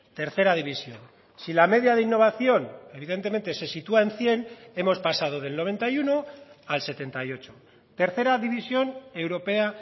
tercera división si la media de innovación evidentemente se sitúa en cien hemos pasado del noventa y uno al setenta y ocho tercera división europea